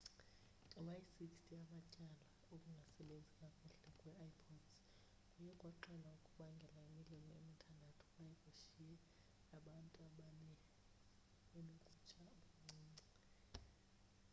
ngama-60 amatyala okungasebenzi kakuhle kwe-ipods kuye kwaxelwa kubangela imililo emithandathu kwaye kushiye abantu abane benokutsha okuncinci